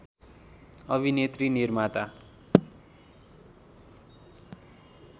अभिनेत्री निर्माता